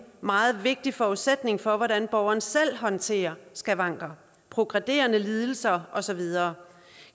meget vigtig forudsætning for hvordan borgeren selv håndterer skavanker progrederende lidelser og så videre